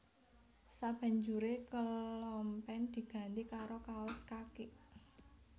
Sabanjuré kelompen diganti karo kaos kaki